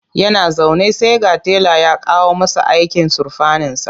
Yana zaune sai ga tela ya kawo masa aikin surfaninsa.